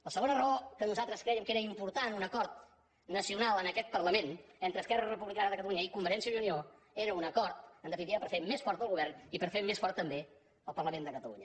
la segona raó que nosaltres crèiem que era important un acord nacional en aquest parlament entre esquerra republicana de catalunya i convergència i unió era un acord en definitiva per fer més fort el govern i per fer més fort també el parlament de catalunya